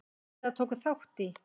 eða tóku þátt í.